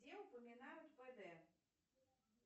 где упоминают пд